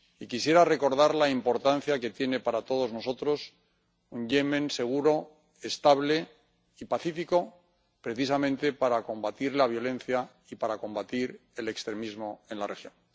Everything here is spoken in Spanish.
Y quisiera recordar la importancia que tiene para todos nosotros un Yemen seguro, estable y pacífico, precisamente para combatir la violencia y para combatir el extremismo en la región.